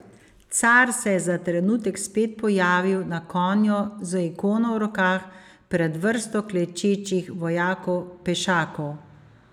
Car se je za trenutek spet pojavil, na konju, z ikono v rokah, pred vrsto klečečih vojakov pešakov ...